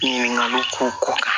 Ɲininkaliw ko